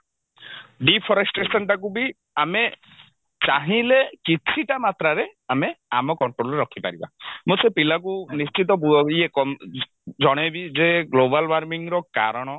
deforestation ଟାକୁ ବି ଆମେ ଚାହିଁଲେ କିଛିଟା ମାତ୍ରାରେ ଆମେ ଆମ control ରେ ରଖିପାରିବ ମୁଁ ସେ ପିଲାକୁ ନିଶ୍ଚିତ ଇଏ ଅ ଜଣେଇବି ଯେ global warming ର କାରଣ